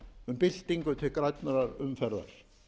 um byltingu til grænnar umferðar